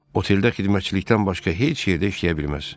Oteldə xidmətçilikdən başqa heç yerdə işləyə bilməz.